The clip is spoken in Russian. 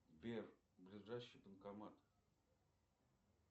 сбер ближайший банкомат